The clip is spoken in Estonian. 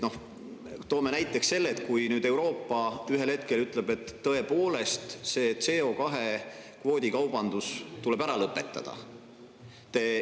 Toome näiteks selle, et Euroopa ühel hetkel ütleb, et tõepoolest, see CO2‑kvoodikaubandus tuleb ära lõpetada.